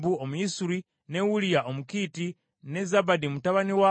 ne Uliya Omukiiti, ne Zabadi mutabani wa Akulayi,